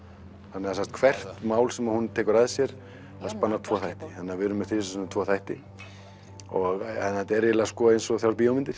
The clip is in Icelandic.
þannig að hvert mál sem hún tekur að sér það spannar tvo þætti þannig að við erum með þrisvar sinnum tvo þætti og þetta er eiginlega eins og þrjár bíómyndir